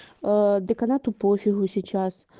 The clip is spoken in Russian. аа деканату пофигу сейчас